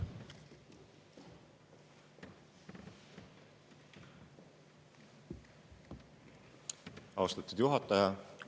Austatud juhataja!